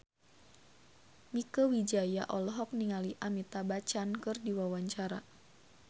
Mieke Wijaya olohok ningali Amitabh Bachchan keur diwawancara